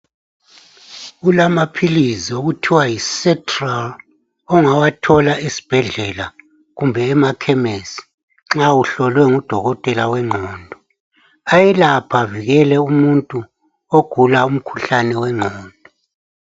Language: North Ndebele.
Kulamaphizi okuthiwa yiSetral ongawathola esibhedlela kumbe emakhemesi nxa uhlolwe ngudokotela wengqondo, ayelapha avikele umuntu ogula umkhuhlane wengqondo.